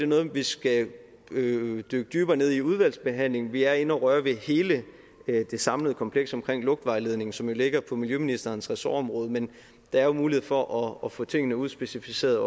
noget vi skal dykke dybere ned i udvalgsbehandlingen vi er inde at røre ved hele det samlede kompleks omkring lugtvejledningen som jo ligger på miljøministerens ressortområde men der er jo en mulighed for at få tingene udspecificeret